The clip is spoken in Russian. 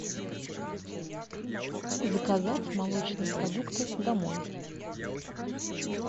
заказать молочные продукты домой